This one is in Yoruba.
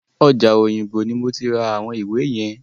Ọjà Òyìngbò ni mo ti ra àwọn ìwé yẹn.